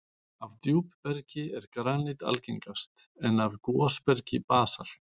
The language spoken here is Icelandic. Af djúpbergi er granít algengast, en af gosbergi basalt.